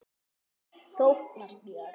Þóknast mér?